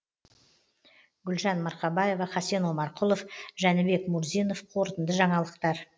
гүлжан марқабаева хасен омарқұлов жәнібек мурзинов қорытынды жаңалықтар